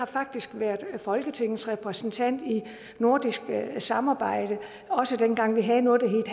faktisk har været folketingets repræsentant i nordisk samarbejde også dengang vi havde noget